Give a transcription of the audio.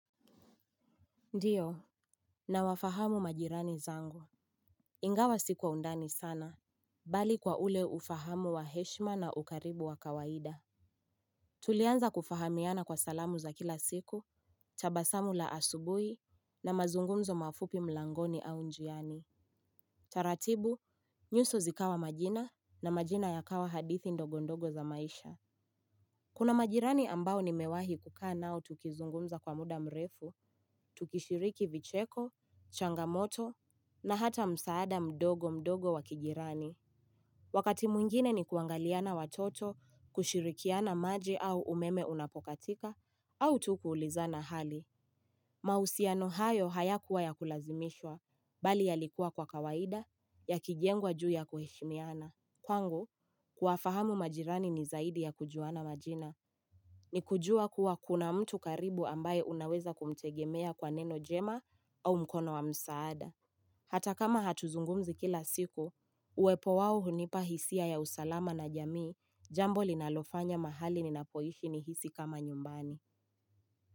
Ndio, nawafahamu majirani zangu, ingawa si kwa undani sana, bali kwa ule ufahamu wa heshima na ukaribu wa kawaida. Tulianza kufahamiana kwa salamu za kila siku, tabasamu la asubui, na mazungumzo mafupi mlangoni au njiani. Taratibu, nyuso zikawa majina, na majina yakawa hadithi ndogo ndogo za maisha. Kuna majirani ambao nimewahi kukaa nao tukizungumza kwa muda mrefu, tukishiriki vicheko, changamoto, na hata msaada mdogo mdogo wa kijirani. Wakati mwingine ni kuangaliana watoto, kushirikiana maji au umeme unapokatika, au tu kuulizana hali. Mahusiano hayo hayakuwa ya kulazimishwa, bali yalikua kwa kawaida, yakijengwa juu ya kuheshimiana. Kwangu, kuwafahamu majirani ni zaidi ya kujuana majina. Ni kujua kuwa kuna mtu karibu ambaye unaweza kumtegemea kwa neno jema au mkono wa msaada. Hata kama hatuzungumzi kila siku, uwepo wao hunipa hisia ya usalama na jamii, jambo linalofanya mahali ninapoishi nihisi kama nyumbani.